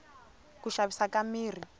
ku xavisa ka mirhi